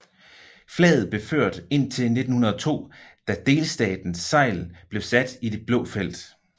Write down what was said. Flaget blev ført indtil 1902 da delstatens segl blev sat i det blå felt